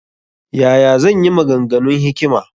Ya ya zan yi maganganun hikima?